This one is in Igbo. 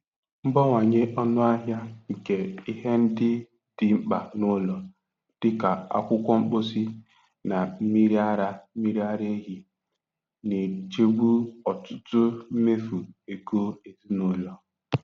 Mbawanye ọnụ ahịa nke ihe ndị dị mkpa n'ụlọ, dị ka akwụkwọ mposi na mmiri ara mmiri ara ehi, na-echegbu ọtụtụ mmefu ego ezinụlọ.